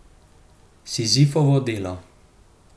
Sizifovo delo.